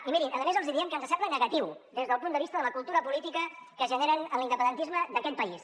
i mirin a més els hi diem que ens sembla negatiu des del punt de vista de la cultura política que es generen en l’independentisme d’aquest país